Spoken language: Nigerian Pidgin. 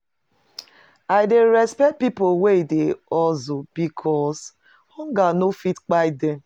I dey respect pipo wey dey hustle because hunger no fit kpai dem.